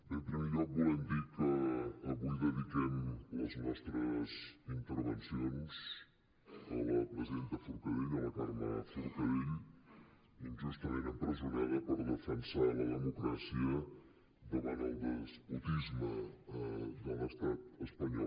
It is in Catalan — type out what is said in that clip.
bé en primer lloc volem dir que avui dediquem les nostres intervencions a la presidenta forcadell a la carme forcadell injustament empresonada per defensar la democràcia davant del despotisme de l’estat espanyol